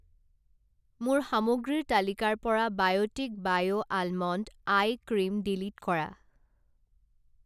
মোৰ সামগ্ৰীৰ তালিকাৰ পৰা Biotique bio almond eye cream delete কৰা।